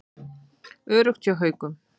Öruggt hjá Haukum